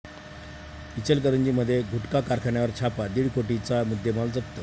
इचलकरंजीमध्ये गुटखा कारखान्यावर छापा, दीड कोटींचा मुद्देमाल जप्त